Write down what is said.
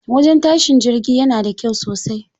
Wajen tashin jirgi yana da kyau sosai.